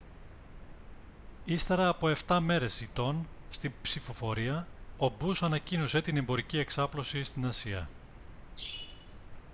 ύστερα από 7 μέρες ηττών στην ψηφοφορία ο bush ανακοίνωσε την εμπορική εξάπλωση στην ασία